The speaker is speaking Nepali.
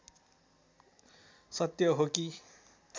सत्य हो कि